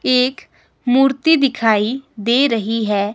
एक मूर्ति दिखाई दे रही है।